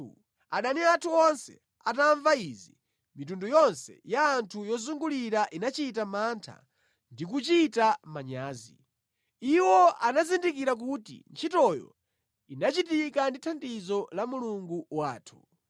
Adani athu onse atamva izi, mitundu yonse ya anthu yozungulira inachita mantha ndi kuchita manyazi. Iwo anazindikira kuti ntchitoyo inachitika ndi thandizo la Mulungu wathu.